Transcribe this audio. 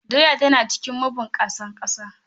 Doya tana cikin mabunkusa ƙasa.